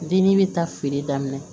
Deni bɛ taa feere daminɛ